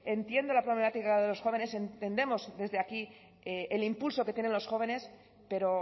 entiendo la problemática de los jóvenes entendemos desde aquí el impulso que tienen los jóvenes pero